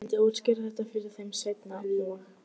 Ég myndi útskýra þetta fyrir þeim seinna- og